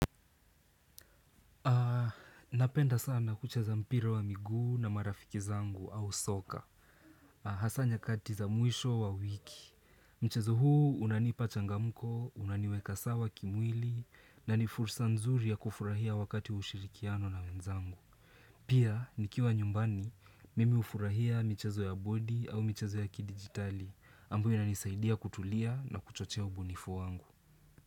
Napenda sana kucheza mpira wa miguu na marafiki zangu au soka. Hasaa nyakati za mwisho wa wiki. Mchezo huu unanipa changamko, unaniweka sawa kimwili. Na ni fursa nzuri ya kufurahia wakati wa ushirikiano na wenzangu. Pia nikiwa nyumbani, mimi ufurahia michezo ya bodi au michezo ya kidijitali ambayo inanisaidia kutulia na kuchochea ubunifu wangu.